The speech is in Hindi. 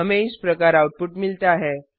हमें इस प्रकार आउटपुट मिलता है